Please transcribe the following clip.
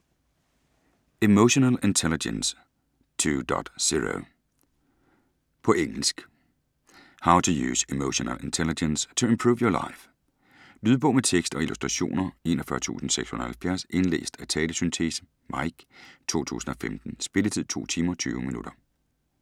Emotional intelligence 2.0 På engelsk. How to use emotional intelligence to improve your life. Lydbog med tekst og illustrationer 41670 Indlæst af talesyntese (Mike), 2015. Spilletid: 2 timer, 20 minutter.